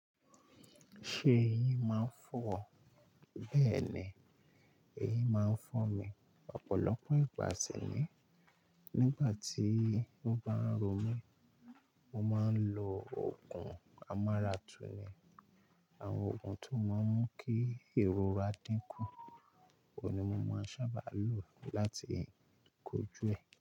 Ṣe eyin máa ń fọ́ ọ? Bẹ́ẹ̀ni, eyín máa ń fọ́ mi. Ọ̀pọ̀lọpọ̀ ìgbà sìni nígbà tí ó bá ń ro mí, mo máa ń lo oògùn amaratuni. Àwọn oògùn ti ó máa ń mú kí ìrora dín kù, òhun ni mo máa ń sábà lo láti kojú ẹ̀